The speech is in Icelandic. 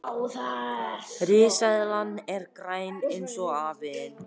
Enika, ekki fórstu með þeim?